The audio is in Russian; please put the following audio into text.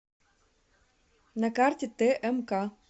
на карте тмк